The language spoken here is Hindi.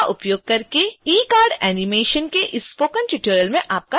synfig का उपयोग करके ecard animation के इस स्पोकन ट्यूटोरियल में आपका स्वागत है